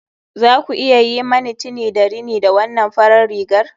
Za ku iya yi mani tini da rini da wannan farar rigar